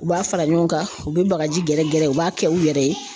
U b'a fara ɲɔgɔn kan u bɛ bagaji gɛrɛgɛrɛ u b'a kɛ u yɛrɛ ye.